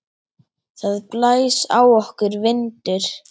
Það blæs á okkur vindur.